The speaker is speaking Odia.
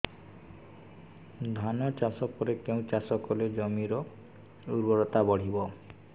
ଧାନ ଚାଷ ପରେ କେଉଁ ଚାଷ କଲେ ଜମିର ଉର୍ବରତା ବଢିବ